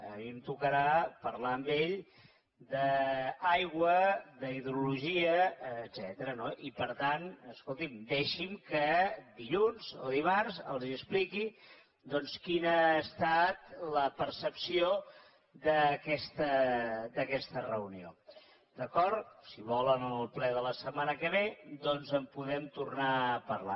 a mi em tocarà parlar amb ell d’aigua d’hidrologia etcètera no i per tant escolti’m deixi’m que dilluns o dimarts els expliqui doncs quina ha estat la percepció d’aquesta reunió d’acord si vol en el ple de la setmana que ve doncs en podem tornar a parlar